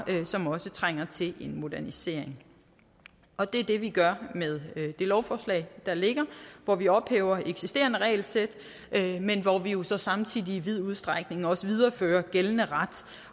som også trænger til en modernisering og det er det vi gør med det lovforslag der ligger hvor vi ophæver eksisterende regelsæt men hvor vi jo så samtidig i vid udstrækning også viderefører gældende ret